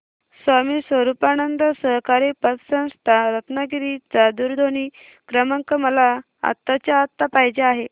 स्वामी स्वरूपानंद सहकारी पतसंस्था रत्नागिरी चा दूरध्वनी क्रमांक मला आत्ताच्या आता पाहिजे आहे